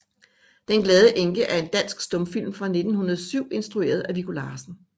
Den glade Enke er en dansk stumfilm fra 1907 instrueret af Viggo Larsen